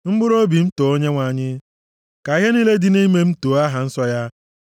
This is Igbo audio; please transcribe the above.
Mkpụrụobi m, too Onyenwe anyị; ka ihe niile dị nʼime m too aha nsọ ya.